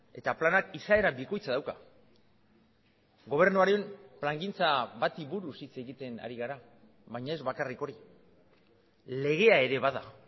eta planak izaera bikoitza dauka gobernuaren plangintza bati buruz hitz egiten ari gara baina ez bakarrik hori legea ere bada